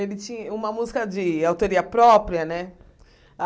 Ele ti uma música de autoria própria, né?